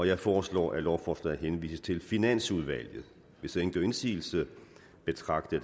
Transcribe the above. jeg foreslår at lovforslaget henvises til finansudvalget hvis ingen gør indsigelse betragter